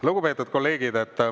Lugupeetud kolleegid!